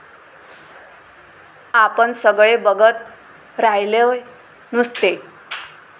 आपण सगळे बघत राह्य़लोय नुस्ते.